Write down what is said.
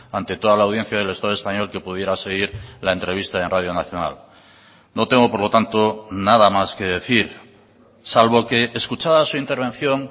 ante toda la audiencia del estado español que pudiera seguir la entrevista en radio nacional no tengo por lo tanto nada más que decir salvo que escuchada su intervención